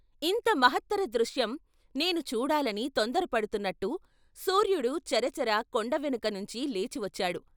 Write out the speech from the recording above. ఇంత మహాత్తర దృశ్యం నేనూ చూడాలని తొందరపడుతున్నట్టు సూర్యుడు చర చర కొండ వెనక నుంచి లేచి వచ్చాడు.